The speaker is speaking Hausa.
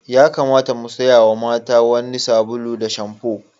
Ya kamata mu siya mata wani sabulu da shamfo.